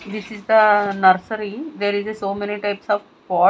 This is the nursery there is a so many types of po--